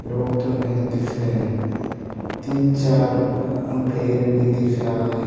लोग तो नहीं दिख रहे तीन चार पेड़ भी दिख रहा है।